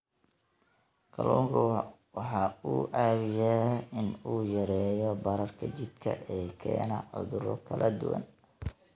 Kalluunku waxa uu caawiyaa in uu yareeyo bararka jidhka ee keena cudurro kala duwan.